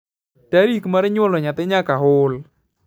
tarik mar nyuol nyathi nyaka hul